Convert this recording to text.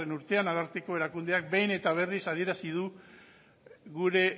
urtean ararteko erakundeak behin eta berriz adierazi du